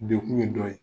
Dekun ye dɔ ye